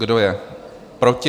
Kdo je proti?